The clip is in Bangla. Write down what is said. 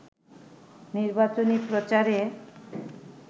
নির্বাচনী প্রচারে